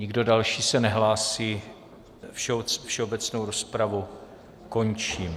Nikdo další se nehlásí, všeobecnou rozpravu končím.